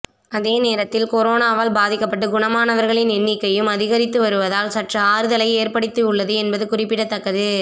அதே நேரத்தில் கொரோனாவால் பாதிக்கப்பட்டு குணமாணவர்களின் எண்ணிக்கையும் அதிகரித்து வருவதால் சற்று ஆறுதலை ஏற்படுத்தி உள்ளது என்பது குறிப்பிடத்தக்கது